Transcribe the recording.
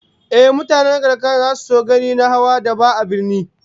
Mutanen karkara zasu so ganin na hawan daba a birni